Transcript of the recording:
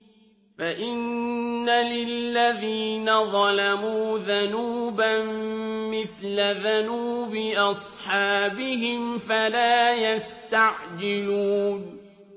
فَإِنَّ لِلَّذِينَ ظَلَمُوا ذَنُوبًا مِّثْلَ ذَنُوبِ أَصْحَابِهِمْ فَلَا يَسْتَعْجِلُونِ